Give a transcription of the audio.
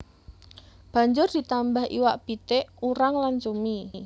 Banjur ditambah iwak pitik urang lan cumi